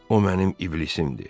O mənim iblisimdir.